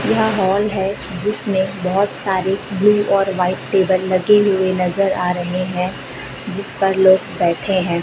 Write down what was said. यह हॉल है जिसमे बहोत सारी ब्लू और व्हाइट टेबल लगे हुए नजर आ रहे हैं जिस पर लोग बैठे हैं।